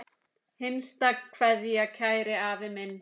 HINSTA KVEÐJA Kæri afi minn.